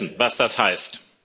müssten wissen, was das heißt.